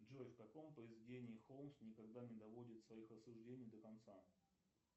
джой в каком произведении холмс никогда не доводит своих рассуждений до конца